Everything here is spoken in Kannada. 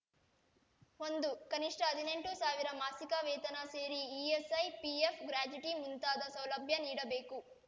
ಒಂದು ಕನಿಷ್ಠ ಹದಿನೆಂಟು ಸಾವಿರ ಮಾಸಿಗ ವೇತನ ಸೇರಿ ಇಎಸ್‌ಐ ಪಿಎಫ್‌ ಗ್ರಾಚ್ಯುಟಿ ಮುಂತಾದ ಸೌಲಭ್ಯ ನೀಡಬೇಕು